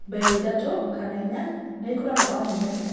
mbegũ ithatũ kana inya nĩ ikũraga o mũthenya